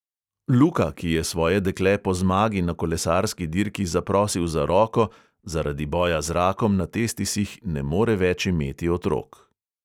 Luka, ki je svoje dekle po zmagi na kolesarski dirki zaprosil za roko, zaradi boja z rakom na testisih ne more več imeti otrok.